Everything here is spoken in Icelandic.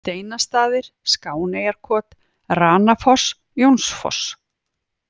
Steinastaðir, Skáneyjarkot, Ranafoss, Jónsfoss